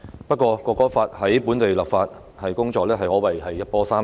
不過《國歌法》在本地的立法工作可謂一波三折。